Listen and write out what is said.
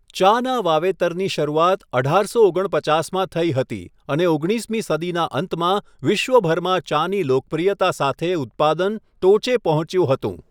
ચાના વાવેતરની શરૂઆત અઢારસો ઓગણપચાસમાં થઈ હતી અને ઓગણીસમી સદીના અંતમાં વિશ્વભરમાં ચાની લોકપ્રિયતા સાથે ઉત્પાદન ટોચે પહોંચ્યું હતું.